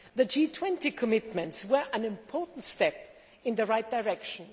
The G20 commitments were an important step in the right direction.